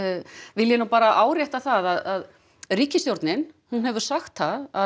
vil ég bara árétta það að ríkisstjórnin hefur sagt það að